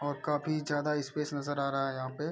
और काफी ज्यादा स्पेस नज़र आ रहा है यहाँ पे।